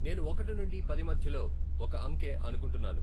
నేను ఒకటి నుండి పది మధ్యలో ఒక అంకె అనుకుంటున్నాను